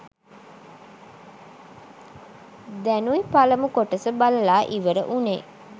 දැනුයි පළමු කොටස බලලා ඉවර වුනේ.